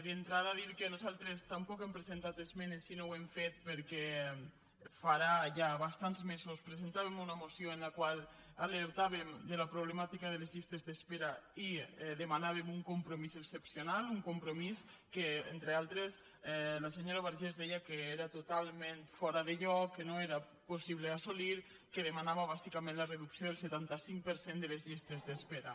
d’entrada dir que nosaltres tampoc no hem presentat esmenes i no ho hem fet perquè farà ja bastants mesos presentàvem una moció en la qual alertàvem de la problemàtica de les llistes d’espera i demanàvem un compromís excepcional un compromís que entre altres la senyora vergés deia que era totalment fora de lloc que no era possible assolir que demanava bàsicament la reducció del setanta cinc per cent de les llistes d’espera